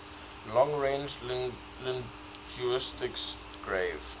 long range linguistics gave